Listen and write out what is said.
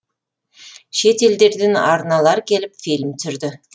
шет елдерден арналар келіп фильм түсірді